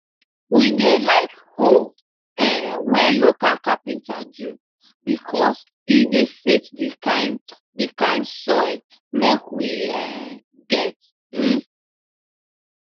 we dey like hoe um wey local capenter do becos e de fit d kind d kind soil make we um get um